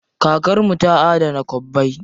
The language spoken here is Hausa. Kakar mu ta adana kwabbai.